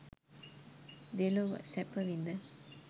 දෙලොව සැපවිඳ